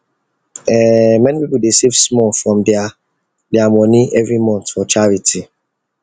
um many people dey save small from their their money every month for charity